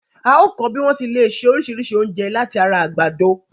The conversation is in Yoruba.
A óọ̀ kọ́ bí wọ́n ti lè ṣe oríṣìíríṣìí oúnjẹ láti ara àgbàdo.